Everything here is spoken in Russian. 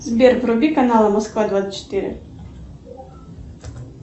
сбер вруби канал москва двадцать четыре